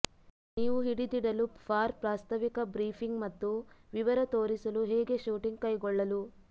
ನೀವು ಹಿಡಿದಿಡಲು ಫಾರ್ ಪ್ರಾಸ್ತಾವಿಕ ಬ್ರೀಫಿಂಗ್ ಮತ್ತು ವಿವರ ತೋರಿಸಲು ಹೇಗೆ ಶೂಟಿಂಗ್ ಕೈಗೊಳ್ಳಲು